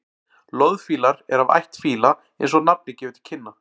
loðfílar eru af ætt fíla eins og nafnið gefur til kynna